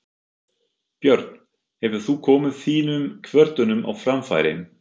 Björn: Hefur þú komið þínum kvörtunum á framfæri?